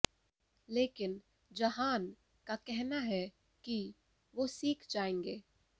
लेकिन जहान का कहना है कि वो सीख जाएंगे